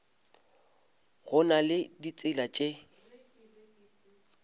go na le ditsela tše